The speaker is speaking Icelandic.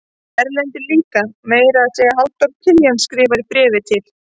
Erlendur líka og meira að segja Halldór Kiljan skrifar í bréfi til